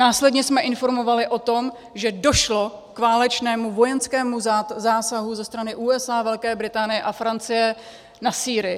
Následně jsme informovali o tom, že došlo k válečnému vojenskému zásahu ze strany USA, Velké Británie a Francie na Sýrii.